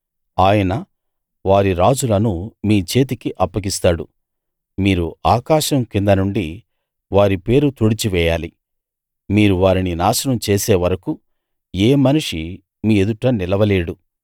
ఆయన వారి రాజులను మీ చేతికి అప్పగిస్తాడు మీరు ఆకాశం కింద నుండి వారి పేరు తుడిచి వేయాలి మీరు వారిని నాశనం చేసేవరకూ ఏ మనిషీ మీ ఎదుట నిలవలేడు